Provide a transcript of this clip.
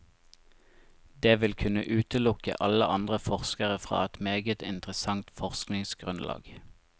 Det vil kunne utelukke alle andre forskere fra et meget interessant forskningsgrunnlag.